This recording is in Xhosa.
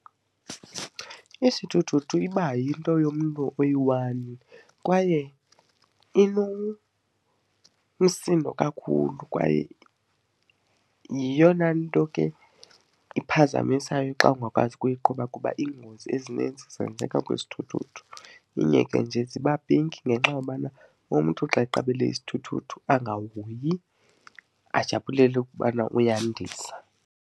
Isithuthuthu iba yinto yomntu oyi-one kwaye inomsindo kakhulu kwaye yeyona nto ke ephazamisayo xa ungakwazi ukuyiqhuba kuba iingozi ezininzi zenzeka kwizithuthu. Inye ke nje ziba pinki ngenxa yobana umntu xa eqabele isithuthuthu angahoyi ajabulele ukubana uyandiza.